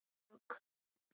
Smá djók.